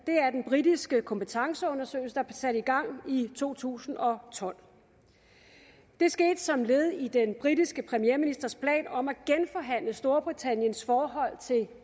britiske kompetenceundersøgelse der sat i gang i to tusind og tolv det skete som led i den britiske premierministers plan om at genforhandle storbritanniens forhold til